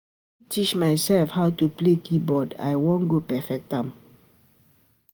Na me teach mysef how to play keyboard, I wan go perfect am.